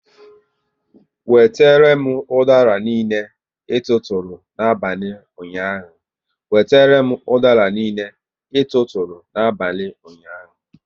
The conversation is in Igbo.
Wetere m udara niile, ị tụụrụ n'abalị ụnyaahụ!